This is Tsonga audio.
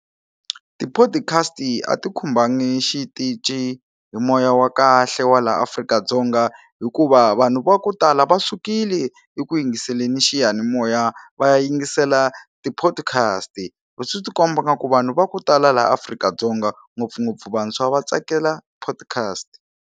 Tiphodikhasti a ti khumbangi xitici hi moya wa kahle wa la Afrika-Dzonga hikuva vanhu va ku tala va sukile eku yingiselela xiyanimoya va ya yingisela tiphodikhasti swi ti komba nga ku vanhu va ku tala laha Afrika-Dzonga ngopfungopfu vantshwa va tsakela podcast.